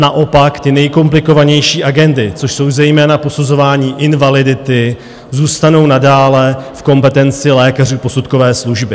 Naopak ty nejkomplikovanější agendy, což jsou zejména posuzování invalidity, zůstanou nadále v kompetenci lékařů posudkové služby.